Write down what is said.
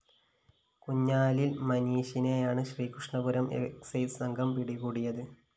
കുഴിഞ്ഞാലില്‍ മനീഷിനെയാണ് ശ്രീകണ്ഠപുരം എക്സൈസ്‌ സംഘം പിടികൂടിയത്